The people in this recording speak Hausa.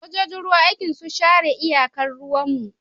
Sojojin ruwa aikin su tsare iyakar ruwan mu